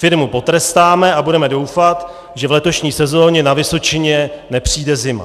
Firmu potrestáme a budeme doufat, že v letošní sezóně na Vysočině nepřijde zima."